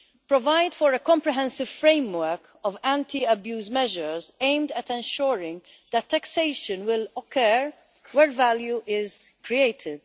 2 provide for a comprehensive framework of anti abuse measures aimed at ensuring that taxation will occur where value is created.